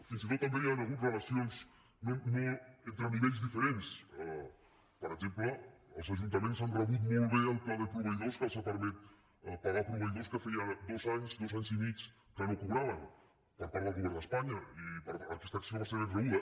fins i tot també hi han hagut relacions entre nivells diferents per exemple els ajuntaments han rebut molt bé el pla de proveïdors que els ha permès pagar proveïdors que feia dos anys dos anys i mig que no cobraven per part del govern d’espanya i aquesta acció va ser ben rebuda